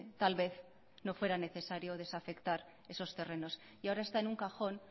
tal vez no fuera necesario desafectar esos terrenos y ahora está en un cajón